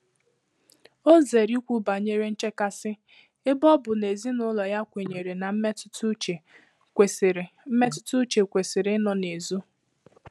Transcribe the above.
Ọ́ zèèrè ìkwú bànyèrè nchékàsị́ ébé ọ bụ́ nà èzínụ́lọ yá kwènyèrè nà mmétụ́tà úchè kwèsị́rị̀ mmétụ́tà úchè kwèsị́rị̀ ị́nọ nà-ézò.